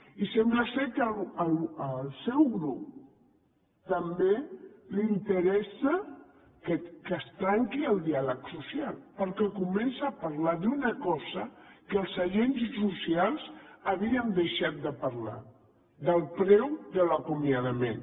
i sembla que al seu grup també li interessa que es trenqui el diàleg social perquè comença a parlar d’una cosa que els agents socials havien deixat de parlar ne del preu de l’acomiadament